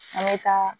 An bɛ taa